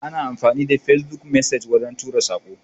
Ana amfani da Facebook messenger wajen tura Sako.